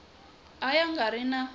a ya nga ri na